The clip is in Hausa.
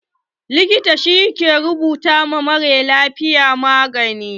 Likita shi ke rubuta ma maralafiya magani.